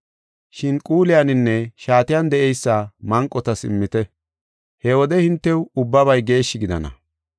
Shin quuliyaninne shaatiyan de7eysa manqotas immite. He wode hintew ubbabay geeshshi gidana.